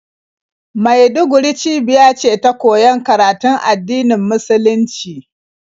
Maiduguri cibiya ce ta koyon karatun addinin musulunci,